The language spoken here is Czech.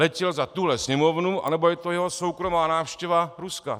Letěl za tuhle Sněmovnu, anebo je to jeho soukromá návštěva Ruska.